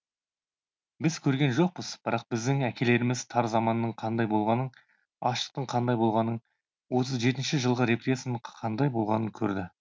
біз көрген жоқпыз бірақ біздің әкелеріміз тар заманның қандай болғанын аштықтың қандай болғанын отыз жетінші жылғы репрессияның қандай болғанын көрді